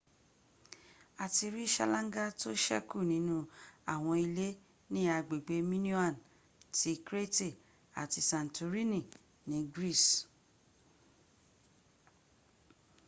a ti rí ṣálángá tó ṣẹkù nínú àwọn ilé ní agbègbè minoan ti crete àti santorini ní greece